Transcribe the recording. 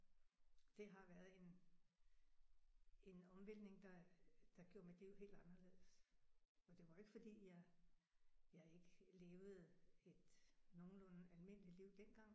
Det har været en en omvæltning der der gjorde mit liv helt anderledes. Og det var jo ikke fordi jeg jeg ikke levede et nogenlunde almindeligt liv dengang